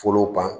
Folow kan